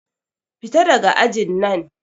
Fita daga ajin nan!